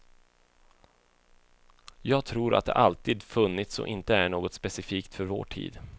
Jag tror att det alltid funnits och inte är något specifikt för vår tid.